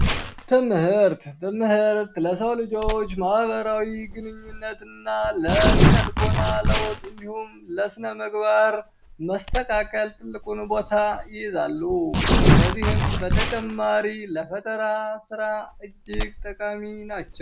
ትምህርት፣ ትምህርት ለሰው ልጆች ማህበራዊ ግንኙነት እና ለስነልቦና ለውጥ እንዲሁም ለስነምግባር መስተካከል ትልቁን ቦታ ይይዛሉ። ከዚህም በተጨማሪ ለፈጠራ ስራ እጅግ ጠቃሚ ናቸው።